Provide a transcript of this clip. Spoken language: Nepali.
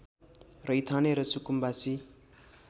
रैथाने र सुकुम्बासी